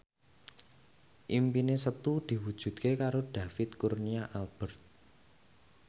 impine Setu diwujudke karo David Kurnia Albert